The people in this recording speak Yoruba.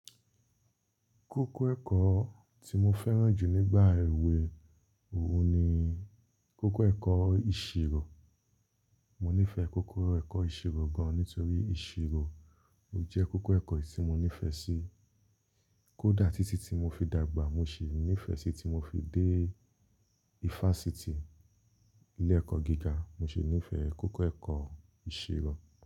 Kókó ẹ̀kọ́ tí mo fẹ́ràn jù nígbà èwe òun ni kókó ẹ̀kọ́ ìṣirò. Mo nífẹ̀ẹ́ kókó ẹ̀kọ́ ìṣirò gan-an nítorí ìṣirò ò jẹ́ kókó ẹ̀kọ́ tí mo nífẹ̀ẹ́ sí. Kódà títí tí mo fi dàgbà mo sì nífẹ̀ẹ́ sí tí mo fi dé fásitì, ilé ẹ̀kọ́ gíga mo sì nífẹ̀ẹ́ kókó ẹ̀kọ́ ìṣirò.